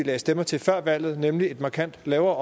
lagde stemmer til før valget nemlig en markant lavere